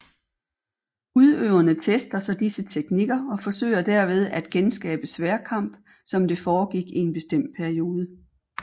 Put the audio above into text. Udøverne tester så disse teknikker og forsøger derved at genskabe sværdkamp som det foregik i en bestemt periode